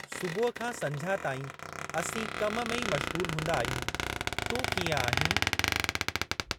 सुबुह खां संझा ताईं असीं कम में ई मश्ग़ूलु हूंदा आहियूं। तूं कीअं आहीं ?